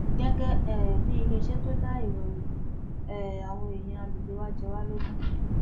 gẹgẹ um bíi iléeṣẹ tó dáa ìrọrùn um àwọn èèyàn àgbègbè wa jẹ wá lógún